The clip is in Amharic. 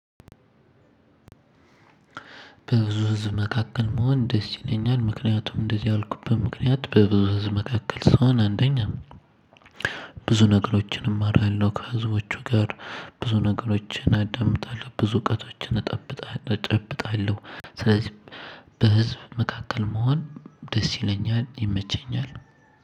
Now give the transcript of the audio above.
በብዙ ህዝብ መካከል መሆን ደስ ይለኛል ምክንያቱም እንደዚህ ያልኩበት ምክንያት በብዙ ህዝብ መካከል ስሆን አንደኛ ብዙ ነገሮችን እማራለሁ ከህዝቦቹ ጋር። ብዙ ነገሮችን አዳምጣለሁ ብዙ እውቀቶችን እጠብጣለሁ እጨብጣለሁ ስለዚህ በህዝብ መካከል መሆን ደስ ይለኛል ይመቸኛል።